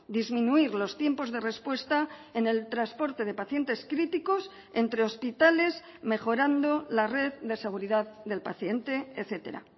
disminuir los tiempos de respuesta en el transporte de pacientes críticos entre hospitales mejorando la red de seguridad del paciente etcétera